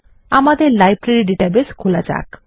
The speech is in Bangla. আমাদের লাইব্রেরী ডাটাবেস খোলা যাক